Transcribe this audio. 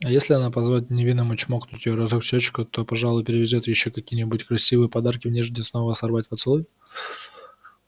а если она позволит невинному чмокнуть её разок в щёчку то он пожалуй привезёт ей ещё какие-нибудь красивые подарки в надежде снова сорвать поцелуй